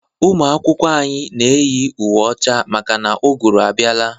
Ụmụ akwụkwọ anyị na eyi uwe ọcha maka na ugụrụ abiala.